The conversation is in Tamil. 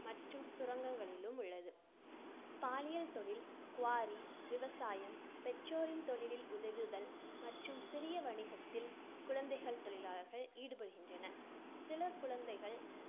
மற்றும் சுரங்கங்களிலும் உள்ளது. பாலியல் தொழில், quarry விவசாயம், பெற்றோரின் தொழிலில் உதவுதல் மற்றும் சிறிய வணிகத்தில் குழந்தைத் தொழிலாளர்கள் ஈடுபடுகின்றனர். சில குழந்தைகள்